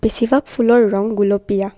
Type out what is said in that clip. ফুলৰ ৰং গুলপীয়া।